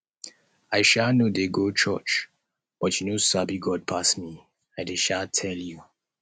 i um no dey go church but you no sabi god pass me i dey um tell you